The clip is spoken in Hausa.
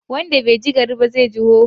Wanda bai ji bari ba zai ji hoho.